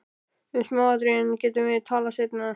Um smáatriðin getum við talað seinna.